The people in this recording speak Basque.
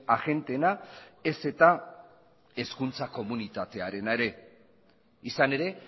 agenteena ez eta hezkuntza komunitatearena ere izan ere